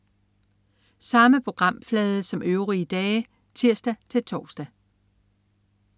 Samme programflade som øvrige dage (tirs-tors)